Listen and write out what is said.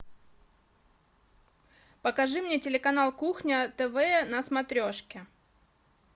покажи мне телеканал кухня тв на смотрешке